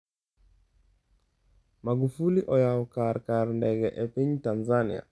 Magufuli oyao kar kar ndege e piny Tanzania